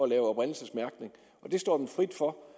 lave oprindelsesmærkning og det står dem frit for